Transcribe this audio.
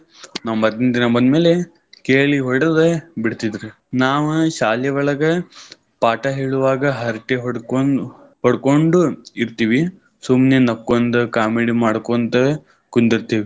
ನಾವ್ ಮರ್ದಿನ ದಿನಾ ಬಂದ್ಮೇಲೆ ಕೇಳಿ ಹೊಡದ ಬಿಡ್ತಿದ್ರ್. ನಾವ ಶಾಲಿ ಒಳಗ್ ಪಾಠ ಹೇಳುವಾಗ ಹರಟಿ ಹೊಡ್ಕೊ~ ಹೊಡ್ಕೊಂಡು ಇರ್ತೀವಿ. ಸುಮ್ನೆ ನಕ್ಕೊಂಡ್ comedy ಮಾಡ್ಕೊಂತ ಕುಂದಿರ್ತಿವಿ.